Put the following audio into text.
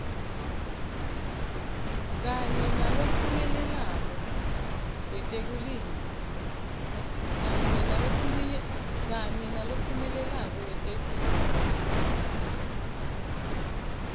kanye nalophumelelako wetekulima